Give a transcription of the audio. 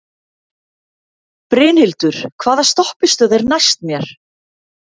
Brynhildur, hvaða stoppistöð er næst mér?